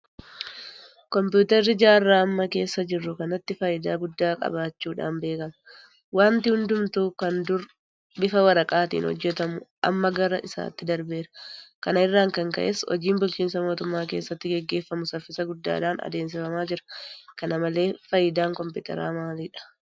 Kompiitarri jaarraa amma keessa jirru kanatti faayidaa guddaa qabaachuudhaan beekama. Waanti hundumtuu kan dur bifa waraqaatiin hojjetamu amma gara isaatti darbeera. Kana irraa kan ka'e hojiin bulchiinsa mootummaa keessatti gaggeeffamu saffisa guddaadhaan adeemsifamaa jira. Kana malee faayidaan Kompiitaraa maalidha?